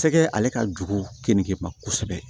Sɛgɛ ale ka jugu keninge ma kosɛbɛ